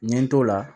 N ye n t'o la